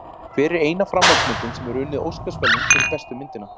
Hver er eina framhaldsmyndin sem hefur unnið Óskarsverðlaun fyrir bestu myndina?